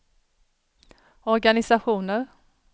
organisationer